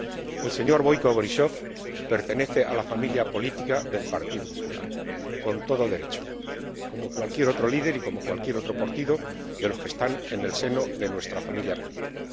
En primer lugar, el señor Boiko Borísov pertenece a la familia política del Partido Popular Europeo, con todo derecho, como cualquier otro líder y como cualquier otro partido de los que están en el seno de nuestra familia política.